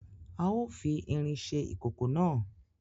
A o fi ìrin ṣe ìkòkò náà